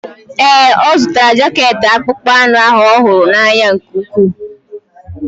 Ee, ọ zụtara jaket akpụkpọ anụ ahụ ọ hụrụ n'anya nke ukwuu.